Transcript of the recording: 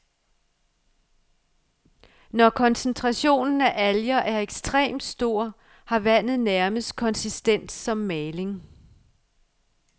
Når koncentrationen af alger er ekstrem stor, har vandet nærmest konsistens som maling.